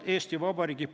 Aitäh, austatud ettekandja!